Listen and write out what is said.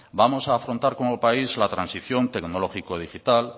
vamos a afrontar como país la transición tecnológico digital